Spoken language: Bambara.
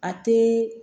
A tɛ